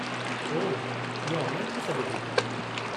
ओह, इहो ऑनलाइनु थी सघे थो?